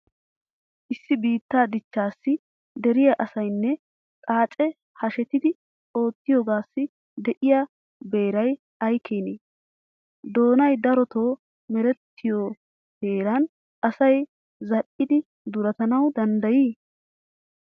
Issi biittaa dichchaassi dere asaynne xaacee hashetidi oottiyogaassi de'iya beeray ay keenee? Danoy darotoo merettiyo heeran asay zal''idi duretanawu danddayii